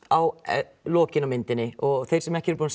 á endalokin á myndinni og þeir sem ekki eru búnir